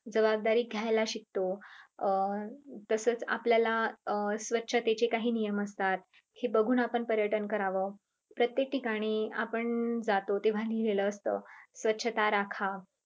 जबाबदारी घ्यायला शिकतो. अं तसेच आपल्याला स्वच्छतेचे काही नियम असतात हे बघून आपण पर्यटन करावं प्रत्येक ठिकाणी आपण जातो तेव्हा लिहलेले असत स्वच्छता राखा.